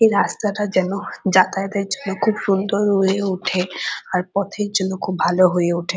এই রাস্তা টা যেন যাতায়াত এর জন্য খুব সুন্দর হয়ে ওঠে আর পথের জন্য খুব ভালো হয়ে ওঠে ।